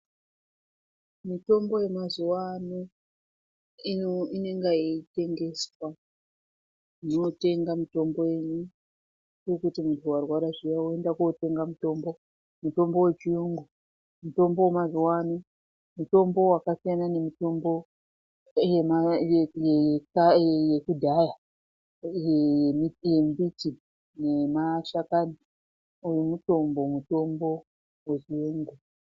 Mitombo yemazuwa ano, ino inonga yeitengeswa motenga mutombo yenyu, kurikuti muntu warwara zviya woenda kootenga mutombo, mutombo wechiyungu mutombo wemazuwa ano mutombo wakasiyana nemitombo yekudhaya yembiti nemashakani uyu mutombo, mutombo wechiyungu.